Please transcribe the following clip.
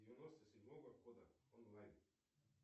девяносто седьмого года онлайн